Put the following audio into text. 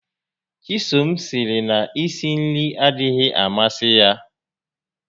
Chisom sịrị na i si nri adịghị amasị ya